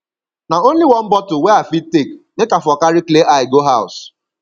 na only one bottle wey i fit take make i for carry clear eye go house